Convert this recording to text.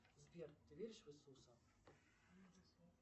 сбер ты веришь в иисуса